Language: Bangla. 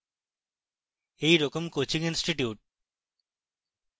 এই রকম coaching institutes